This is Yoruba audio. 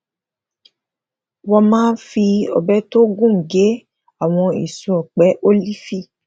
wón máa fi òbẹ tó gùn gé àwọn èso òpẹ ólífì